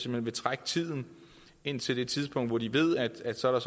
vil trække tiden indtil det tidspunkt hvor de ved at så er